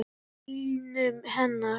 Og bílnum hennar.